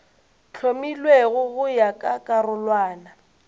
hlomilwego go ya ka karolwana